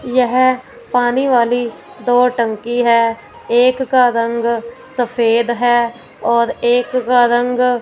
यह पानी वाली दो टंकी हैं एक का रंग सफेद है और एक का रंग--